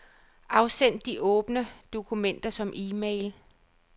Afsend de åbne dokumenter som e-mail.